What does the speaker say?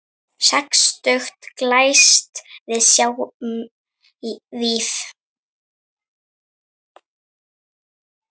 Sextugt glæst við sjáum víf.